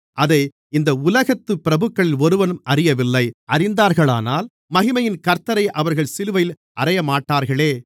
அதை இந்த உலகத்துப் பிரபுக்களில் ஒருவனும் அறியவில்லை அறிந்தார்களானால் மகிமையின் கர்த்த்தரை அவர்கள் சிலுவையில் அறையமாட்டார்களே